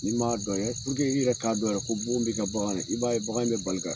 Ni m'a dɔn i yɛrɛ k'a dɔn yɛrɛ ko bugun bi ka bagan na, i b'a ye bagan in bɛ bali ka